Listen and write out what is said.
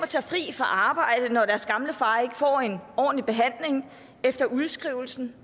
tage fri fra arbejde når deres gamle far ikke får en ordentlig behandling efter udskrivelsen